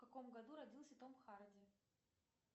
в каком году родился том харди